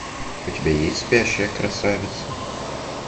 у тебя есть спящая красавица